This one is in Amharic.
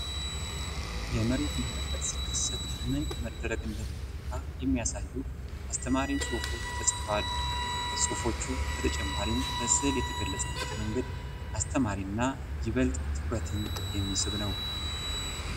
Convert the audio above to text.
የመሬት መንቀጥቀጥ ሲከሰት ምን መደረግ እንደሚገባ የሚያሳዩ አስተማሪ ጽሁፎች ተጽፈዋል። ከጽሁፎቹ በተጨማሪም በስእል የተገለጸበት መንገድ አስተማሪ እና ይበልጥ ትኩረትን የሚስብ ነው።